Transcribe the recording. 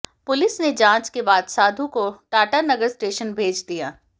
police ने जांच के बाद साधु को टाटानगर स्टेशन भेज दिया